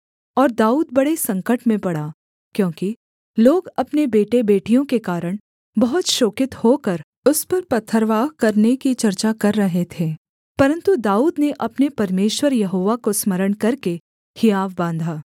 और दाऊद बड़े संकट में पड़ा क्योंकि लोग अपने बेटेबेटियों के कारण बहुत शोकित होकर उस पर पथरवाह करने की चर्चा कर रहे थे परन्तु दाऊद ने अपने परमेश्वर यहोवा को स्मरण करके हियाव बाँधा